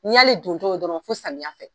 N'i y'ale dontɔ ye dɔrɔn fo samiya fɛ.